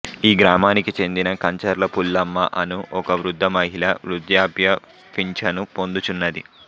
ఈ గ్రామానికి చెందిన కంచర్ల పుల్లమ్మ అను ఒక వృద్ధ మహిళ వృద్ధాప్య పింఛను పొందుచున్నది